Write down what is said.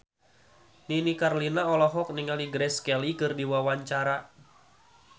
Nini Carlina olohok ningali Grace Kelly keur diwawancara